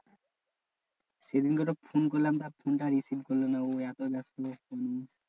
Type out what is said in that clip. সেদিনকে তো phone করলাম ধর ফোনটা receive করলো না। ও এত ব্যাস্ত মানে,